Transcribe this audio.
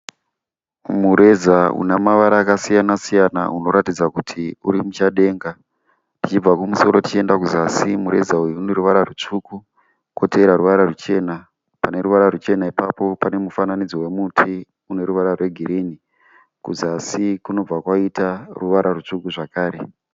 Mureza unemavara akasiyanasiyana unokuratidza kuti urimushadenga. Tishibva kumusoro tichiyenda kuzasi mureza uyu uneruvara rusvuku kotevera ruvara ruchena. Paneruvara ruchena ipapo panemufananidzo wemuti uneruvara rwe girirni. Kuzasi kunibva kwaita ruvara rusvuku zvakare.